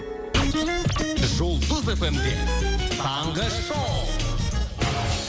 жұлдыз эф эм де таңғы шоу